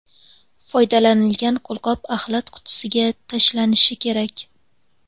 Foydalanilgan qo‘lqop axlat qutisiga tashlanishi kerak.